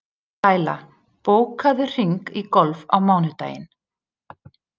Læla, bókaðu hring í golf á mánudaginn.